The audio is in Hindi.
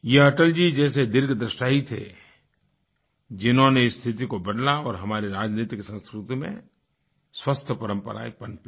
यह अटल जी जैसे दीर्घदृष्टा ही थे जिन्होंने स्थिति को बदला और हमारी राजनीतिक संस्कृति में स्वस्थ परम्पराएं पनपी